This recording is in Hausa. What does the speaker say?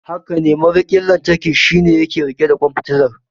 Hakane, mariƙin lantarki shine yake riƙe ƙwan fitilar.